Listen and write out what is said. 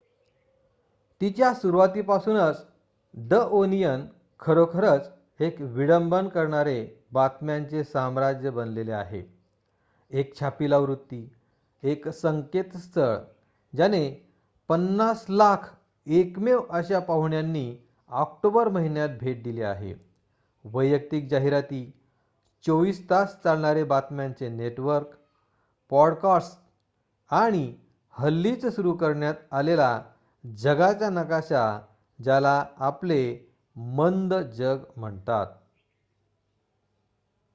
तिच्या सुरुवातीपासूनच the Onion खरोखरच एक विडंबन करणारे बातम्यांचे साम्राज्य बनलेले आहे एक छापील आवृत्ती एक संकेतस्थळ ज्याने 5,000,000 एकमेव अशा पाहुण्यांनी ऑक्टोबर महिन्यात भेट दिली आहे वैयक्तिक जाहिराती 24 तास चालणारे बातम्यांचे नेटवर्क पॉडकास्टस आणि हल्लीच सुरू करण्यात आलेला जगाचा नकाशा ज्याला आपले मंद जग म्हणतात